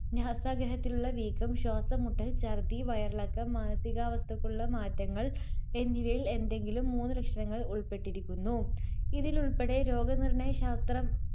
നാസാഗഹ്വരത്തിലുള്ള വീക്കം, ശ്വാസംമുട്ടൽ, ഛർദ്ദി, വയറിളക്കം, മാനസികാവസ്ഥയ്ക്കുള്ള മാറ്റങ്ങൾ എന്നിവയിൽ എന്തെങ്കിലും മൂന്നുലക്ഷണങ്ങൾ ഉൾപ്പെട്ടിരിക്കുന്നു. ഇതിലുൾപ്പെടെ രോഗനിർണയശാസ്ത്ര